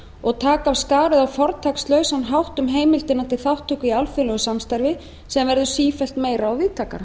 og taka af skarið á fortakslausan hátt um heimildina til þátttöku í alþjóðlegu samstarfi sem verður sífellt meira og víðtækara